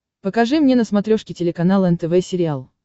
покажи мне на смотрешке телеканал нтв сериал